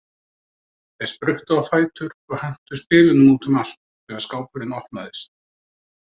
Þeir spruttu á fætur og hentu spilunum út um allt þegar skápurinn opnaðist.